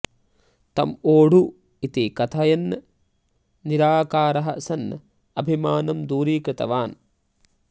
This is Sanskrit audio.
तम् ओडु इति कथयन् निराकारः सन् अभिमानं दूरिकृतवान्